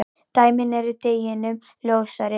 Dæmin eru deginum ljósari.